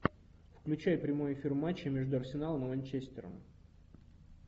включай прямой эфир матча между арсеналом и манчестером